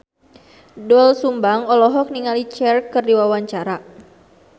Doel Sumbang olohok ningali Cher keur diwawancara